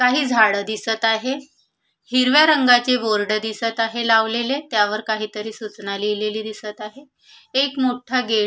काही झाड दिसत आहे हिरव्या रंगाची बोर्ड दिसत आहे लावलेले त्यावर काहीतरी सूचना लिहिलेली दिसत आहे एक मोठ गेट --